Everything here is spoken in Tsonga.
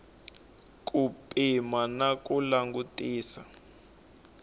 ku pima na ku langutisisa